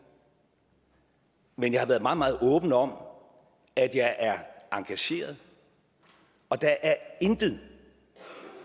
men jeg har været meget meget åben om at jeg er engageret og der er intet